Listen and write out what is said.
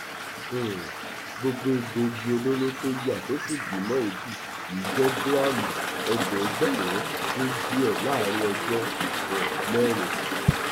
um gbogbo egbòogi olóró tó yá tó sì bí mọ èébì yìí jẹ gíráàmù ẹẹdẹgbẹrún dín díẹ láàrin ọjọ um mẹrin